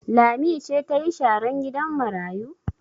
Lami ce ta yi sharan gidan marayu?